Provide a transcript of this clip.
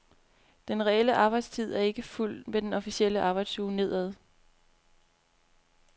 Den reelle arbejdstid er ikke fulgt med den officielle arbejdsuge nedad.